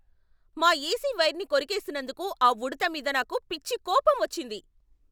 మా ఏసి వైర్ని కొరికేసినందుకు ఆ ఉడుత మీద నాకు పిచ్చి కోపం వచ్చింది.